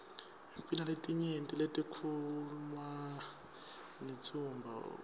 binaletinyenti letikhuwma ngewtsmbuo